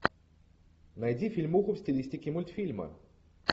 найди фильмуху в стилистике мультфильма